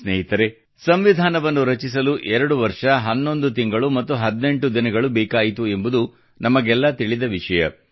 ಸ್ನೇಹಿತರೇ ಸಂವಿಧಾನವನ್ನು ರಚಿಸಲು 2 ವರ್ಷ 11 ತಿಂಗಳು ಮತ್ತು 18 ದಿನಗಳು ಬೇಕಾಯಿತು ಎಂಬುದು ನಮಗೆಲ್ಲ ತಿಳಿದ ವಿಷಯ